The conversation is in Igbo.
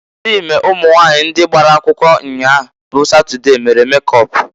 Imerime ụmụnwanyị ndị gbara akwụkwọ nnyaa bụ Satọde mere mekọp.